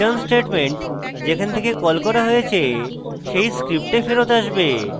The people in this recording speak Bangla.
return statement যেখান থেকে কল করা হয়েছে সেই script ফেরৎ আসবে